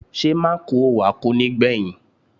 Ṣé Mákùú ò wá kú nígbẹ̀yìn?